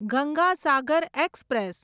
Ganga Sagar express